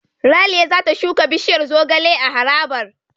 Ralia za ta shuka bishiyar zogale a harabar.